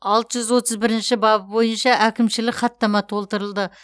алты жүз отыз бірінші бабы бойынша әкімшілік хаттама толтырылды